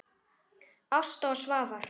Ásta og Svafar.